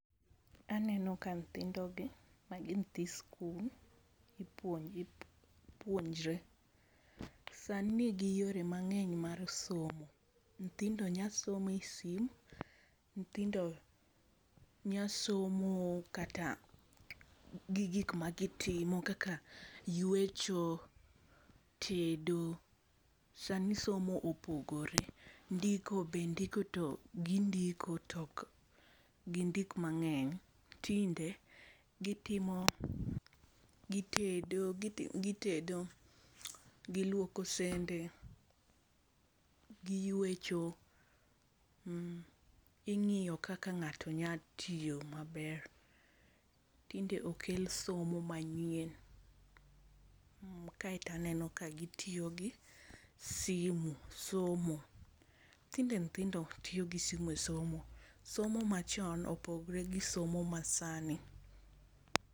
Aneno ka nyithindo gi ma gi nyithi skul ipuonjo puonjre sa ni ni gi yore mang'eny mag somo, nyithindo nya somo e sim nyithindo nya somo kata gi gik ma gi timo kaka ywecho, tedo sa ni somo opogore ndiko be gi ndiko to be ok gi ndik mang'eny tinde gi tedo, gi lwoko sende, gi ywecho, ing'iyo kaka ng'ato nya tiyo ma ber okel somo ma nyien kaito aneno ka gi tiyo gi simo e somo nyithindo ma tindo tiyo gi simo e somo. Somo ma chon opogore gi somo ma sani .